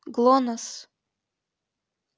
глонассс